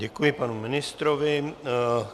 Děkuji panu ministrovi.